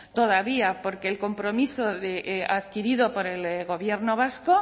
todavía porque el compromiso adquirido por el gobierno vasco